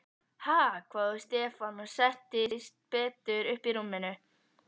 Ha?! hváði Stefán og settist betur upp í rúminu.